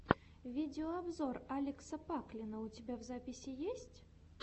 видеообзор алекса паклина у тебя в запасе есть